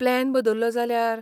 Plan बदललो जाल्यार ?